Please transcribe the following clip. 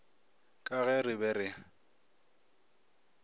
ka ge re be re